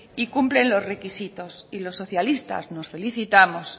y cumplen los requisitos y los socialistas nos felicitamos